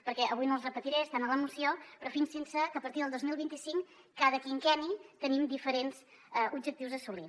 perquè avui no els repetiré estan a la moció però fixin se que a partir del dos mil vint cinc cada quinquenni tenim diferents objectius a assolir